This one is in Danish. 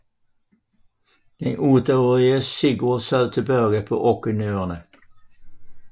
Den otteårige Sigurd sad tilbage på Orknøerne